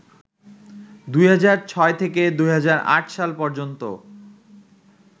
২০০৬ থেকে ২০০৮সাল পর্যন্ত